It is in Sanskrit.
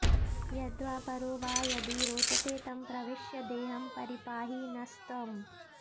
यद्वा परो वा यदि रोचते तं प्रविश्य देहं परिपाहि नस्त्वम्